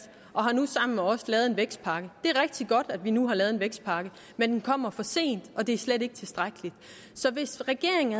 og har nu sammen med os lavet en vækstpakke det er rigtig godt at vi nu har lavet en vækstpakke men den kommer for sent og det er slet ikke tilstrækkeligt så hvis regeringen